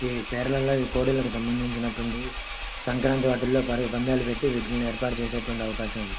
కోడికి సంబంచినవి సంక్రాంతిలో వీటికి పందెం పెట్టి వీటికి ఏర్పాటు చేసే అవకాశం ఉంది.